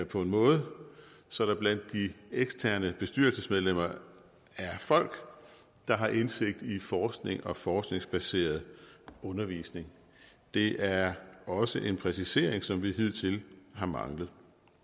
på en måde så der blandt de eksterne bestyrelsesmedlemmer er folk der har indsigt i forskning og forskningsbaseret undervisning det er også en præcisering som vi hidtil har manglet